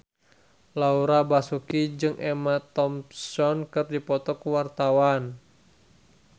Laura Basuki jeung Emma Thompson keur dipoto ku wartawan